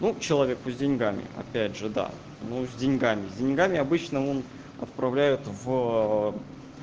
ну человеку с деньгами опять же да ну с деньгами деньгами обычно вон отправляют в